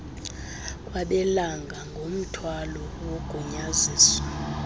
kwabelana ngomthwalo wogunyaziso